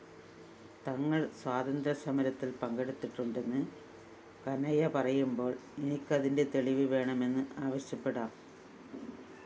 തങ്ങള്‍ സ്വാതന്ത്ര്യസമരത്തില്‍ പങ്കെടുത്തിട്ടുണ്ടെന്ന് കനയ്യപറയുമ്പോള്‍ എനിക്കതിന്റെ തെളിവ് വേണമെന്ന് ആവശ്യപ്പെടാം